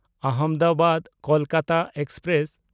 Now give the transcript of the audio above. ᱟᱦᱚᱢᱫᱟᱵᱟᱫ–ᱠᱳᱞᱠᱟᱛᱟ express